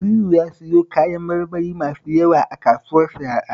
Naziru ya siyo kayan marmari masu yawa a kasuwar Sharaɗa